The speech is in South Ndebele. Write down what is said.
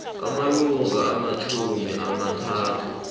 amalanga amatjhumi amathathu